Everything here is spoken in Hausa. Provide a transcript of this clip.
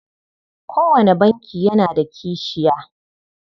Kowane banki yana da kashiya.